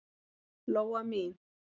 Lóa mín.